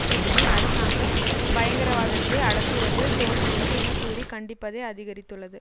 கூட்டணி அரசாங்கம் பயங்கரவாதத்தை அடக்குவதில் தோற்றுள்ளது என கூறி கண்டிப்பதை அதிகரித்துள்ளது